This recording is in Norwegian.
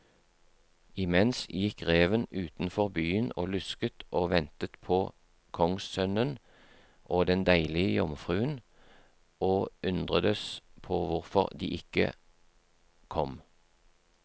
Imens gikk reven utenfor byen og lusket og ventet på kongssønnen og den deilige jomfruen, og undredes på hvorfor de ikke kom.